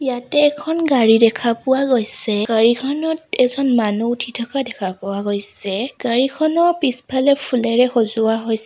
ইয়াতে এখন গাড়ী দেখা পোৱা গৈছে গাড়ীখনত এজন মানু্হ উঠি থকা দেখা পোৱা গৈছে গাড়ীখনৰ পিছফালে ফুলেৰে সজোৱা হৈছ --